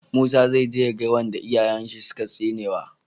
Musa zai je ya ga wanda iyayen shi suka tsinewa